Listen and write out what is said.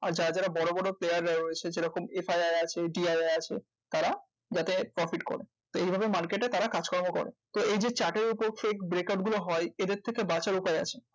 আর যারা যারা বড় বড় player রা রয়েছে যেরকম FIR আছে TIR আছে তারা যাতে profit করে তো এই ভাবে market এ তারা কাজকর্ম করে। তো এই যে chart এর উপর যে breakout গুলা হয়, এদের থেকে বাঁচার উপায় আছে।